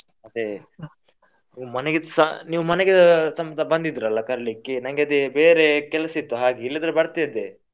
ಅದೇ ಮನೆಗೆಸ ನೀವ್ ಮನೆಗೆ ಸಮೇತ ಬಂದಿದ್ರಲ್ಲ ಕರೀಲಿಕ್ಕೆ ನಂಗೆ ಅದೇ ಬೇರೆ ಕೆಲಸ ಇತ್ತು ಹಾಗೆ ಇಲ್ಲದ್ರೆ ಬರ್ತಾ ಇದ್ದೆ.